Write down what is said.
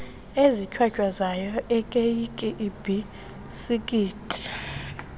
ezihlwahlwazayo iikeyiki iibhisikithi